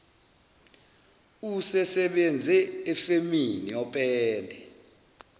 usesebenze efemini yopende